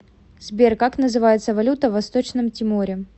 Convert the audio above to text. сбер как называется валюта в восточном тиморе